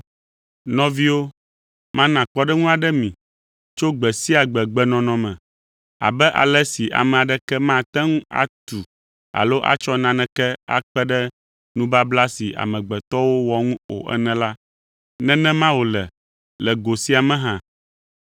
Nɔviwo, mana kpɔɖeŋu aɖe mi tso gbe sia gbe-gbenɔnɔ me. Abe ale si ame aɖeke mate ŋu atu alo atsɔ naneke akpe ɖe nubabla si amegbetɔwo wɔ ŋu o ene la, nenema wòle le go sia me hã.